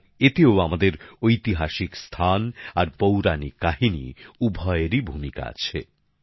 আর এতেও আমাদের ঐতিহাসিক স্থান আর পৌরাণিক কাহিনী উভয়েরই ভূমিকা আছে